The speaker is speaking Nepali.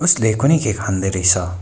उसले कुन के खान्दै रहेछ।